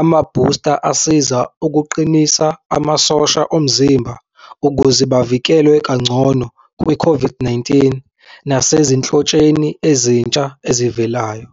amabhusta asiza ukuqinisa amasosha omzimba ukuze bavikelwe kangcono kwi-COVID-19 nasezinhlotsheni ezintsha ezivelayo.